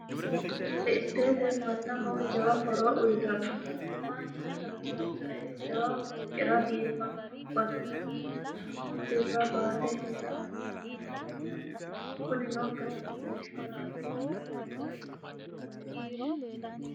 riili isteete mannaho jawa horoo uyitanno mannu tadaraajjae jawa fooqira biiffanno basi'ra shiima birra baate hee'ra dandaannowaati yaate kuni noo katamo heeshshora addinta dancha ikkinota leellishshano